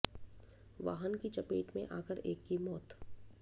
वाहन की चपेट में आकर एक की मौत